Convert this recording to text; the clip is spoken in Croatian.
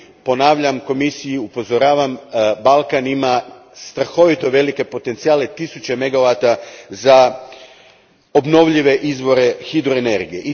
Ponavljam i upozoravam Komisiju Balkan ima strahovito velike potencijale, tisuće megavata za obnovljive izvore hidroenergije.